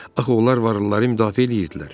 Axı onlar varlıları müdafiə eləyirdilər.